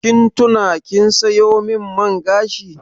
Kin tuna kin sayo min man gashi?